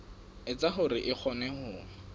etsa hore a kgone ho